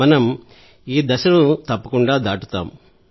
మనం ఈ దశను దాటుతాం